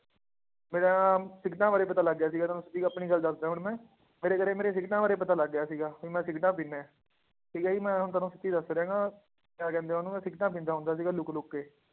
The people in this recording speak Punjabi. ਮੇਰਾ ਨਾ ਸਿਗਰਟਾਂ ਬਾਰੇ ਪਤਾ ਲੱਗ ਗਿਆ ਸੀ ਤੁਹਾਨੂੰ ਸਿੱਧੀ ਗ ਆਪਣੀ ਗੱਲ ਦੱਸਦਾਂ ਹੁਣ ਮੈਂ ਮੇਰੇ ਘਰੇ ਮੇਰੇ ਸਿਗਰਟਾਂ ਬਾਰੇ ਪਤਾ ਲੱਗ ਗਿਆ ਸੀਗਾ ਵੀ ਮੈਂ ਸਿਗਰਟਾਂ ਪੀਂਦਾ ਹੈ, ਠੀਕ ਹੈ ਜੀ ਮੈਂ ਹੁਣ ਤੁਹਾਨੂੰ ਸੱਚ ਦੱਸ ਰਿਹਾਂ ਗਾ ਕਿਹਾ ਕਹਿੰਦੇ ਆ ਉਹਨੂੰ ਮੈਂ ਸਿਗਰਟਾਂ ਪੀਂਦਾ ਹੁੰਦਾ ਸੀਗਾ ਲੁੱਕ ਲੁੱਕ ਕੇ